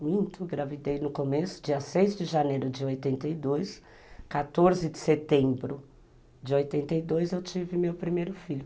Muito, engravidei no começo, dia seis de janeiro de oitenta e dois, quatorze de setembro de oitenta e dois eu tive meu primeiro filho.